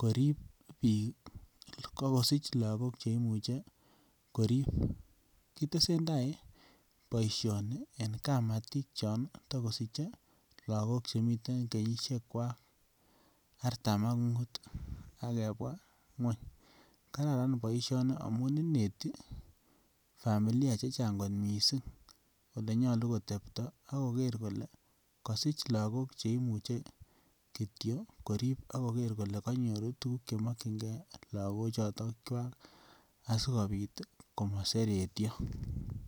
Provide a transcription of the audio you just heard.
korip biik bokosich lagok che imuche korip. Kitesenda boisioni eng kamatik chontokosiche lagok chemite kenyisiekwak artam ak mut ak kebwa ngweny. Kararan boisioni amun ineti familia che chang kot mising olenyalu kotepto ak koger kole kasich lagok che imuche kityo korip ak koger kole kanyor tuguk che makyinge lagochotokwak sigopit komaseretio.